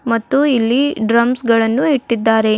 ಮತ್ತು ಇಲ್ಲಿ ಡ್ರಮ್ಸ್ ಗಳನ್ನು ಇಟ್ಟಿದ್ದಾರೆ.